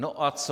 No a co?